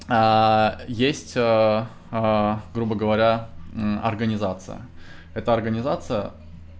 есть грубо говоря организация это организация